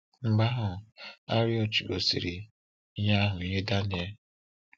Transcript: Mgbe ahụ, Arioch gosiri ihe ahụ nye Daniel.